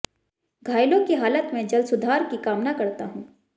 घायलों की हालत में जल्द सुधार की कामना करता हूं